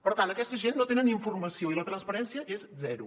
per tant aquesta gent no tenen informació i la transparència és zero